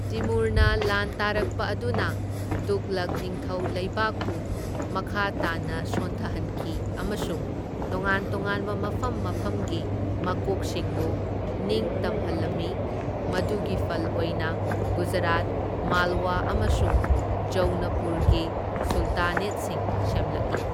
ꯇꯤꯃꯨꯔꯅ ꯂꯥꯟ ꯇꯥꯔꯛꯄ ꯑꯗꯨꯅ ꯇꯨꯘꯂꯛ ꯅꯤꯡꯊꯧ ꯂꯩꯕꯥꯛꯄꯨ ꯃꯈꯥ ꯇꯥꯅ ꯁꯣꯟꯊꯍꯟꯈꯤ ꯑꯃꯁꯨꯡ ꯇꯣꯉꯥꯟ ꯇꯣꯉꯥꯟꯕ ꯃꯐꯝ ꯃꯐꯝꯒꯤ ꯃꯀꯣꯛꯁꯤꯡꯕꯨ ꯅꯤꯡꯇꯝꯍꯜꯂꯝꯃꯤ, ꯃꯗꯨꯒꯤ ꯐꯜ ꯑꯣꯏꯅ ꯒꯨꯖꯔꯥꯠ, ꯃꯥꯜꯋꯥ ꯑꯃꯁꯨꯡ ꯖꯧꯅꯄꯨꯔꯒꯤ ꯁꯨꯜꯇꯥꯅꯦꯠꯁꯤꯡ ꯁꯦꯝꯂꯛꯢ꯫